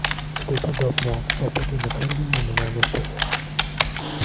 тебе подобная акция поднимет уровень но меня не спасёт